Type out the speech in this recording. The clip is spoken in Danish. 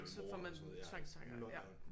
Så får man tvangstanker ja